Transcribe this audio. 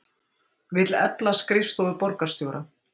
Vill efla skrifstofu borgarstjóra